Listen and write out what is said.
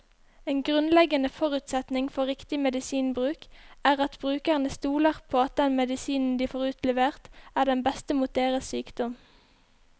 En grunnleggende forutsetning for riktig medisinbruk er at brukerne stoler på at den medisinen de får utlevert, er den beste mot deres sykdom.